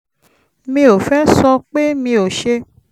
mi ò fẹ́ sọ pé mi ò ṣe